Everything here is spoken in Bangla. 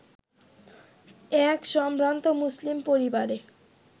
এক সম্ভ্রান্ত মুসলিম পরিবারে